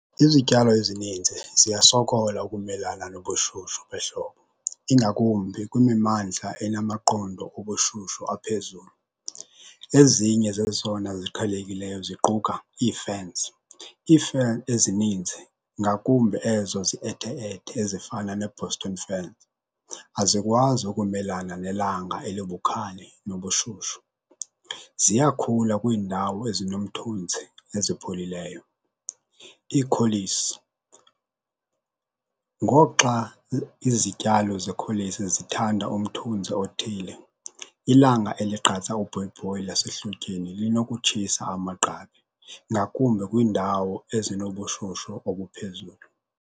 Izityalo ezininzi ziyasokola ukumelana nobushushu behlobo, ingakumbi kwimimmandla enamaqondo obushushu aphezulu. Ezinye zezona ziqhelekileyo ziquka ii-ferns. Ii-fern ezininzi ngakumbi ezo ziethe-ethe ezifana ne-Boston fern azikwazi ukumelana nelanga elibukhali nobushushu. Ziyakhula kwindawo ezinomthunzi, ezipholileyo. Iikholisi ngoxa izityalo zekholisi zithanda umthunzi othile. Ilanga eligqatsa ubhoyibhoyi lasehlotyeni linokutshisa amagqabi ngakumbi kwindawo ezinobushushu obuphezulu.